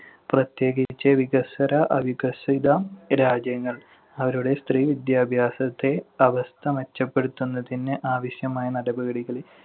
പ്രത്യേകിച്ച് വികസ്വര, അവികസിത രാജ്യങ്ങൾ അവരുടെ സ്ത്രീ വിദ്യാഭ്യാസത്തിന്‍റെ അവസ്ഥ മെച്ചപ്പെടുത്തുന്നതിന് ആവശ്യമായ നടപടികൾ